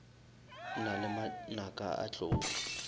na le manaka a tlou